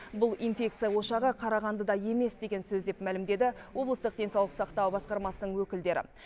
бұл инфекция ошағы қарағандыда емес деген сөз деп мәлімдеді облыстық денсаулық сақтау басқармасының өкілдері